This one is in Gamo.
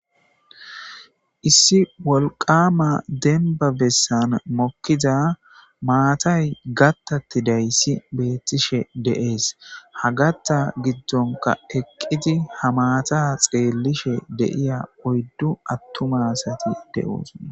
Issi wolqaama dembba bessan mokkidza maatay gattattidayssi beettishe de'ees. Ha gatta giddonka eqqidi ha maata xeellishe de'iya oyddu attuma asati de'oosona.